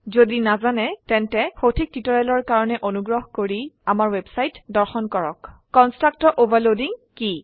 যদি নাজানে তেন্তে সঠিক টিউটৰিয়েলৰ কাৰনে অনুগ্ৰহ কৰি ইয়াত দেখোৱাৰ দৰে আমাৰ ৱেবছাইট দৰ্শন কৰক httpwwwspoken tutorialঅৰ্গ কনষ্ট্ৰাক্টৰ অভাৰলোডিং কি